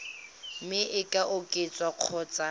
mme e ka oketswa kgotsa